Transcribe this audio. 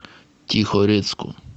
тихорецку